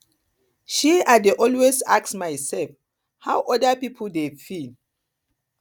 um i dey always ask mysef how oda pipo dey feel